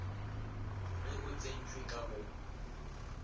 ge o tsentšwe ka go